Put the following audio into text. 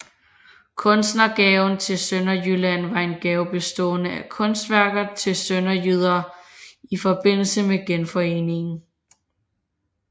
Kunstnergaven til Sønderjylland var en gave bestående af kunstværker til sønderjyderne i forbindelse med Genforeningen